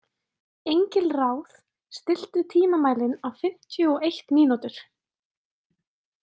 Engilráð, stilltu tímamælinn á fimmtíu og eitt mínútur.